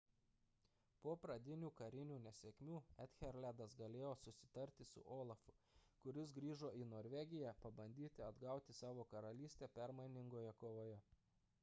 po pradinių karinių nesėkmių ethelredas galėjo susitarti su olafu kuris grįžo į norvegiją pabandyti atgauti savo karalystę permainingoje kovoje